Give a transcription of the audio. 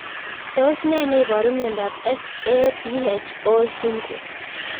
tos nee neiparu miondop SAPHO syndrome